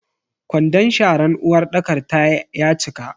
Ƙwandon sharan uwarɗakar ta ya cika.